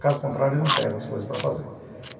Caso contrário, eu não pego as coisas para fazer.